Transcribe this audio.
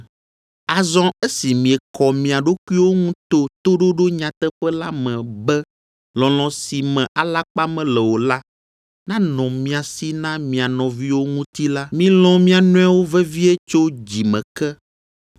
Azɔ esi miekɔ mia ɖokuiwo ŋu to toɖoɖo nyateƒe la me be lɔlɔ̃ si me alakpa mele o la nanɔ mia si na mia nɔviwo ŋuti la, milɔ̃ mia nɔewo vevie tso dzi me ke.